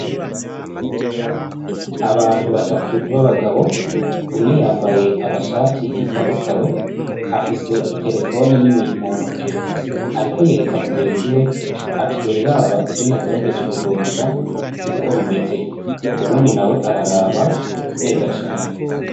Abantu batatu b'abagabo umwe yambaye agashati kikarakaro afise iterefone nini mu ntoke ariko yereka mugenziwe ati dore ivyo nagerageje kurondera uko bimeze uwundi nawe araraba neza cane.